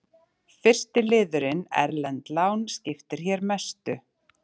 Fyrsti liðurinn, erlend lán, skiptir hér mestu.